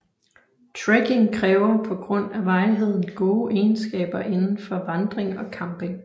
Trekking kræver på grund af varigheden gode egenskaber indenfor vandring og camping